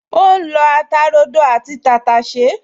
O ra lọ ata rodo àti tàtàṣẹ́